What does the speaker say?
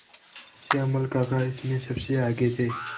श्यामल काका इसमें सबसे आगे थे